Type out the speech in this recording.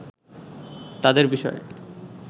তাদের বিষয়ে